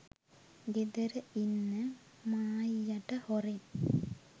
ගෙදර ඉන්න මායියට හොරෙන්